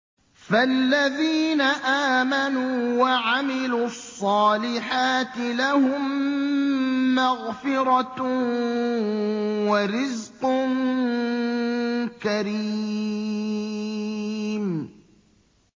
فَالَّذِينَ آمَنُوا وَعَمِلُوا الصَّالِحَاتِ لَهُم مَّغْفِرَةٌ وَرِزْقٌ كَرِيمٌ